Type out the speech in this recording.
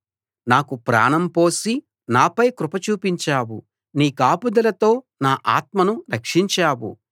నాకు ప్రాణం పోసి నాపై కృప చూపించావు నీ కాపుదలతో నా ఆత్మను రక్షించావు